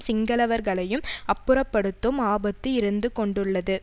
சிங்களவர்களையும் அப்புறப்படுத்தும் ஆபத்து இருந்து கொண்டுள்ளது